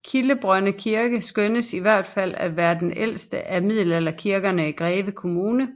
Kildebrønde Kirke skønnes i hvert fald til at være den ældste af middelalderkirkerne i Greve Kommune